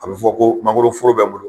A bɛ fɔ ko mangoro foro bɛ n bolo